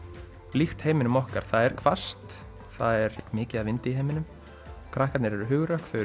líkt heiminum okkar það er hvasst það er mikið af vindi í heiminum krakkarnir eru hugrökk þau